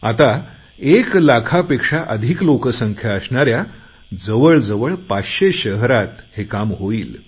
आता एक लाखापेक्षा अधिक लोकसंख्या असणाऱ्या जवळ जवळ 500 शहरात हे काम होईल